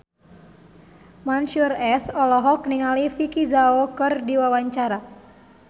Mansyur S olohok ningali Vicki Zao keur diwawancara